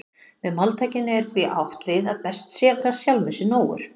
Með máltækinu er því átt við að best sé að vera sjálfum sér nógur.